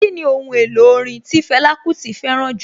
Kíni Ohun èlò orin tí Fẹlá Kúti fẹ́ràn jù?